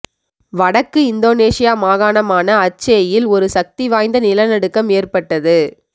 வடக்கு இந்தோனீஷியா மாகாணமான அச்சேயில் ஒரு சக்தி வாய்ந்த நிலநடுக்கம் ஏற்பட்டது